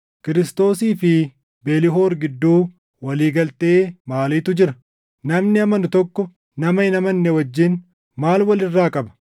Kiristoosii fi Belhor gidduu walii galtee maaliitu jira? Namni amanu tokko nama hin amanne wajjin maal wal irraa qaba?